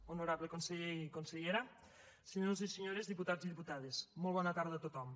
honorable conseller i consellera senyors i senyores diputats i diputades molt bona tarda a tothom